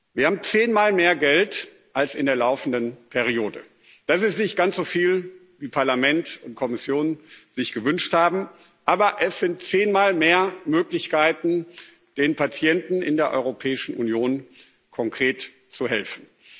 Wir haben zehnmal mehr Geld als in der laufenden Periode. Das ist nicht ganz so viel, wie Parlament und Kommission sich gewünscht haben, aber es sind zehnmal mehr Möglichkeiten, den Patienten in der Europäischen Union konkret zu helfen.